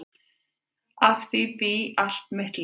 Að því bý ég allt mitt líf.